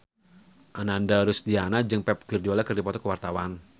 Ananda Rusdiana jeung Pep Guardiola keur dipoto ku wartawan